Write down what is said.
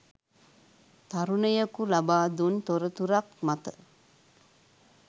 තරුණයකු ලබා දුන් තොරතුරක් මත